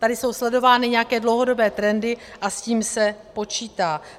Tady jsou sledovány nějaké dlouhodobé trendy a s tím se počítá.